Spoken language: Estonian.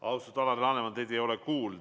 Austatud Alar Laneman, teid ei ole kuulda.